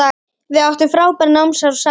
Við áttum frábær námsár saman.